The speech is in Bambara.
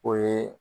O ye